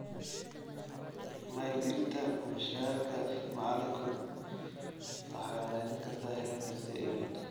Maalgelinta mushaharka macalinku waxay wanaajin kartaa heerka sii hayn.